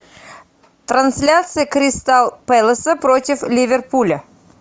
трансляция кристал пэласа против ливерпуля